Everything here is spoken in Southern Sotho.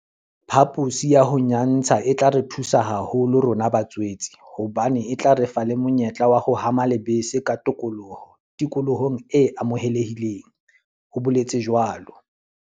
"Phaposi ya ho nyantsha e tla re thusa haholo rona ba tswetse hobane e tla re fa le monyetla wa ho hama lebese ka tokoloho tikolohong e amohelehileng," o boletse jwalo.